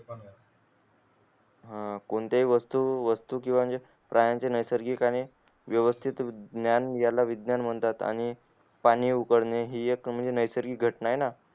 हम्म कोणती हि वस्तू वस्तू किव्हा म्हणजे प्राण्याच्या नैसर्गिक आणि वेवस्तीत ज्ञान घायला विज्ञान मानतात आणि पाणी उबलने हि एक नैसर्गिग घटना ये ना